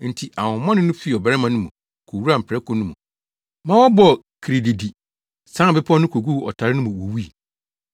Enti ahonhommɔne no fii ɔbarima no mu kowuraa mprako no mu ma wɔbɔɔ kirididi, sian bepɔw no koguu ɔtare no mu wuwui.